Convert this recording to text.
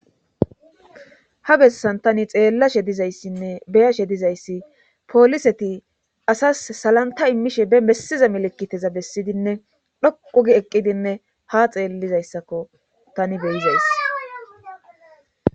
Ha bessan tani xeellashe dizayssinne beyashe dizayssi pooliseti asas salanta immishe be messiza melekiteza bessidinne dhoqugi eqqidinne ha xeellizayssakko tani beyizayss.